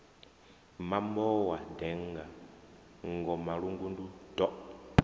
mambo wa denga ngomalungundu yo